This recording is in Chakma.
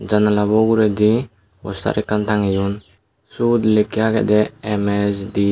jannalabo uguredi postar ekkan tangeyon sud likke agede ms deb.